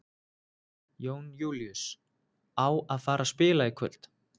Jón Júlíus: Á að fara að spila í kvöld?